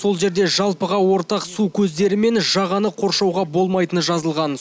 сол жерде жалпыға ортақ су көздері мен жағаны қоршауға болмайтыны жазылған